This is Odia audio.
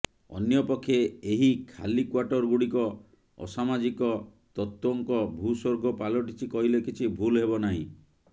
ଅନ୍ୟପକ୍ଷେ ଏହି ଖାଲି କ୍ୱାର୍ଟର ଗୁଡ଼ିକ ଅସାମାଜିକ ତତ୍ୱଙ୍କ ଭୂସ୍ୱର୍ଗ ପାଲଟିଛି କହିଲେ କିଛି ଭୁଲ ହେବ ନାହିଁ